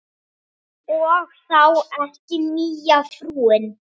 Og þá ekki nýja frúin.